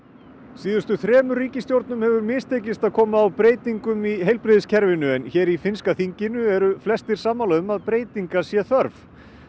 síðustu þremur ríkisstjórnum hefur mistekist að koma á breytingum í heilbrigðiskerfinu en hér í finnska þinginu eru flestir sammála um að breytinga sé þörf